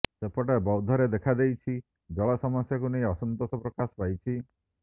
ସେପଟେ ବୌଦ୍ଧରେ ଦେଖାଦେଇଛି ଜଳ ସମସ୍ୟାକୁ ନେଇ ଅସନ୍ତୋଷ ପ୍ରକାଶ ପାଇଛି